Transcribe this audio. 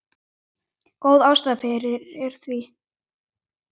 Góð ástæða er fyrir því.